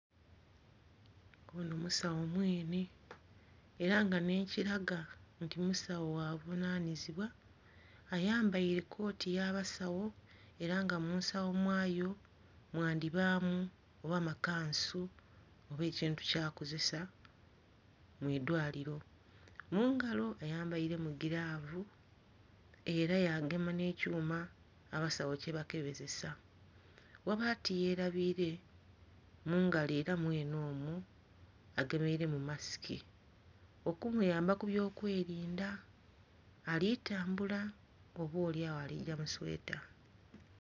Ono omusawo mweene era nga n'ekiraga nti musawo gha buvunanizibwa ayambaire kooti eya basawo era nga munsawo mwayo mwandhiba mu oba makansu oba ekintu kyakozesa mudhwaliro. Mungalo ayambaire mu giravu era yagema n'ekyuma abasawo kyebakeberesa ghabula tiyerabire mungalo era mwene omwo agemeire mu masiki okumuyamba kubyo kwerinda ali tambula oba olyagho aligaba sweeta.